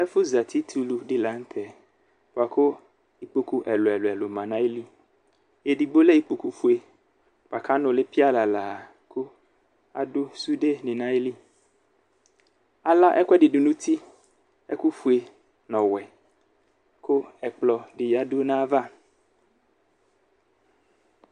Ɛfu zati tulu di la nu tɛ buaku ikpoku ɛlu ɛlu ma nu ayili edigbo nu ayu ikpoku fue buaku anuli pialala adu sude ni nayili ala ɛkuɛdi du nu uti ɛku fue nu ɔwɛ ku ɛkplɔ di yadu nu ayava